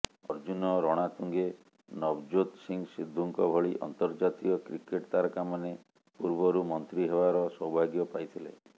ଅର୍ଜୁନ ରଣାତୁଙ୍ଗେ ନଭଜୋତ ସିଂହ ସିଦ୍ଧୁଙ୍କ ଭଳି ଅନ୍ତର୍ଜାତୀୟ କ୍ରିକେଟ ତାରକାମାନେ ପୂର୍ବରୁ ମନ୍ତ୍ରୀ ହେବାର ସୌଭାଗ୍ୟ ପାଇଥିଲେ